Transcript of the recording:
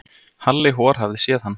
Halli hor hafði séð hann.